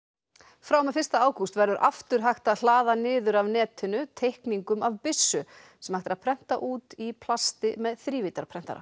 frá og með fyrsta ágúst verður aftur hægt að hlaða niður af netinu teikningum af byssu sem hægt er að prenta út í plasti með þrívíddarprentara